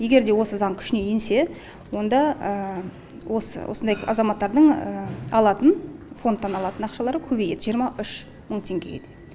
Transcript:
егер де осы заң күшіне енсе онда осы осындай азаматтардың алатын фондтан алатын ақшалары көбейеді жиырма үш мың теңгеге